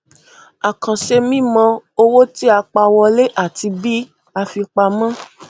àkànṣe mímọ owó tí a pa wọlé àti bí a fi pamọ